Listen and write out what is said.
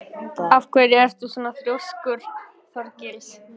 Af hverju ertu svona þrjóskur, Þorgils?